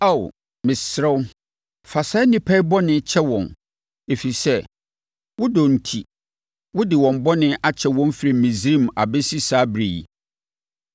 Ao, mesrɛ wo, fa saa nnipa yi bɔne kyɛ wɔn, ɛfiri sɛ, wo dɔ enti, wode wɔn bɔne akyɛ wɔn firi Misraim abɛsi saa ɛberɛ yi.”